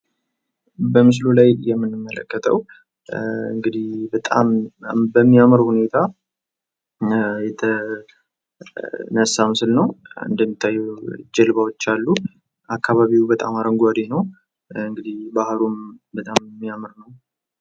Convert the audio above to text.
በምስሉ ላይ የምንመለከተው እንግድህ በጣም በሚያምር ሁኔታ የተነሳ ምስል ነው። እንደሚታወቀው ጀልባዎች አሉ። አካባቢው በጣም አረንጓዴ ነው። እንግድህ ባህሩም በጣም የሚያምር ነው።